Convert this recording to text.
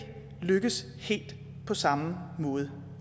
lykkes helt på samme måde